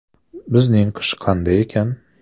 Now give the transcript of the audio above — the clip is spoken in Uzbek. Bizning qish qanday ekan?